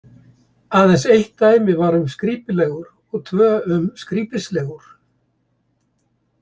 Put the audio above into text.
Aðeins eitt dæmi var um skrípilegur og tvö um skrípislegur.